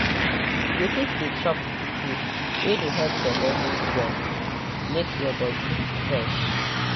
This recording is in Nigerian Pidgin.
you fit dey chop food wey dey help belle move well make your body fresh.